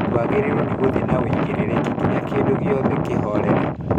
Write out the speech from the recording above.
Twagĩrĩirwo nĩ gũthiĩ na ũigĩrĩki nginya kĩndu gĩothe kĩhorere